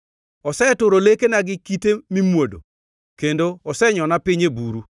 Oseturo lekena gi kite mimuodo kendo osenyona piny e buru.